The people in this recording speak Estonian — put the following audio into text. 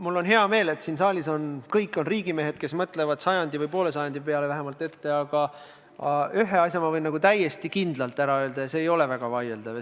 Mul on hea meel, et siin saalis on riigimehed, kes mõtlevad sajandi või vähemalt poole sajandi jagu ette, aga ühe asja võin ma täiesti kindlalt välja öelda ja see ei ole väga vaieldav.